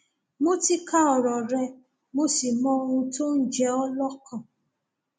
mo ti ka ọrọ rẹ mo sì mọ ohun tó ń jẹ ọ lọkàn